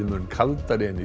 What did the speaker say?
mun kaldari en